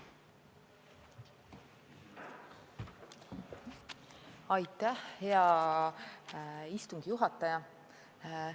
Aitäh, hea istungi juhataja!